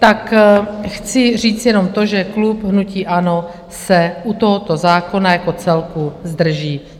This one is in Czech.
Tak chci říct jenom to, že klub hnutí ANO se u tohoto zákona jako celku zdrží.